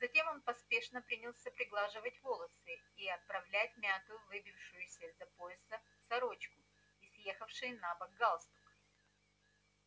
затем он поспешно принялся приглаживать волосы и оправлять мятую выбившуюся из-за пояса сорочку и съехавший набок галстук